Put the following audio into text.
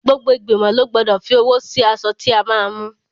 Gbogbo igbimo lọ gbọ́dọ̀ fi owó sí aṣọ tí a máa mú.